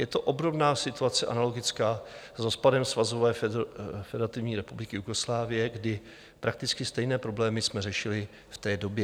Je to obdobná situace, analogická s rozpadem Svazové federativní republiky Jugoslávie, kdy prakticky stejné problémy jsme řešili v té době.